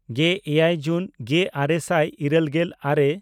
ᱜᱮᱼᱮᱭᱟᱭ ᱡᱩᱱ ᱜᱮᱼᱟᱨᱮ ᱥᱟᱭ ᱤᱨᱟᱹᱞᱜᱮᱞ ᱟᱨᱮ